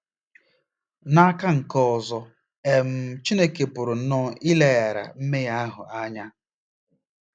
N'aka nke ọzọ, um Chineke pụrụ nnọọ ileghara mmehie ahụ anya.